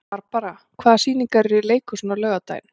Barbara, hvaða sýningar eru í leikhúsinu á laugardaginn?